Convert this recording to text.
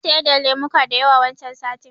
Na siyar da lemuka da yawa wancan satin